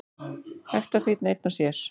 Ekta fínn einn og sér.